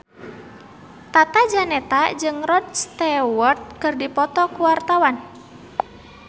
Tata Janeta jeung Rod Stewart keur dipoto ku wartawan